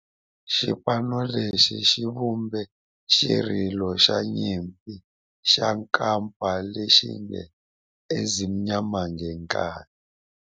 Xipano lexi xi vumbe xirilo xa nyimpi xa kampa lexi nge 'Ezimnyama Ngenkani'.